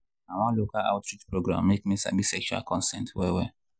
na one local outreach program make me sabi sexual consent well well.